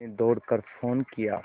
मैंने दौड़ कर फ़ोन किया